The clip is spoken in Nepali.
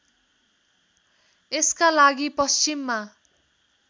यसका लागि पश्चिममा